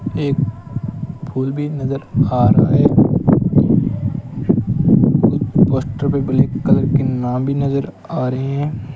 एक फूल भी नजर आ रहा है एक पोस्टर पर बनी कलर के नाम भी नजर आ रहे हैं।